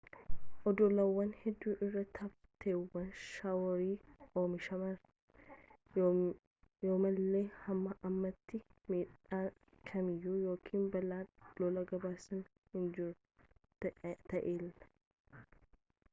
oddolawwan hedduu irratti hafteewwan shaworii omishaman yoomallee hamma ammaatti miidhaan kamiyyuu yookiin balaan lolaa gabaasamee hin jiru ta'ellee